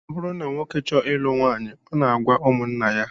Ọ bụrụ na nwoke chọọ ilu nwaanyị, ọ na-agwa ụmụnna ya